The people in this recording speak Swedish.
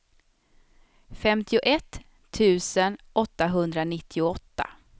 femtioett tusen åttahundranittioåtta